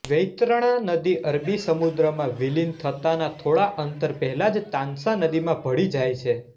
વૈતરણા નદી અરબી સમુદ્રમાં વિલિન થતાના થોડા અંતર પહેલા જ તાન્સા નદીમાં ભળી જાય છે